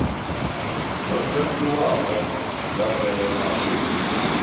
dzo ḓadziwaho dza fhelela hu